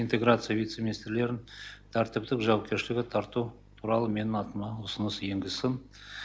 интеграция вице министрлерін тәртіптік жауапкершілігі тарту туралы менің атыма ұсыныс енгізсін